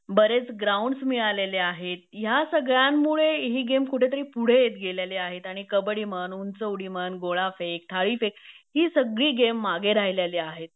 बरेच ग्राऊंड्स मिळालेले आहेत ह्या सगळ्यांमुळे हि गेम्स कुठेतरी पुढे येत गेलेले आहेत आणि कबड्डी म्हण उंचउडी म्हण गोळाफेक, थाळीफेक हि सगली गेम मागे राहिलेली आहेत